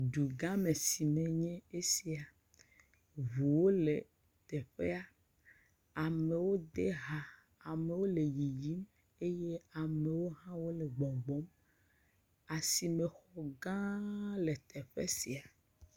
Dugãme si nye esia. Ŋuwo le teƒea. Amewo de ha. Amewo le yiyim eye ame aɖewo hã wole gbɔgbɔm. Asimexɔgã le teƒe sia.